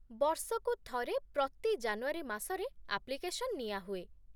ବର୍ଷକୁ ଥରେ ପ୍ରତି ଜାନୁଆରୀ ମାସରେ ଆପ୍ଲିକେସନ୍ ନିଆହୁଏ ।